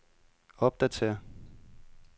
opdatér